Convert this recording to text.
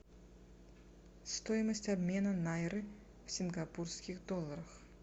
стоимость обмена найры в сингапурских долларах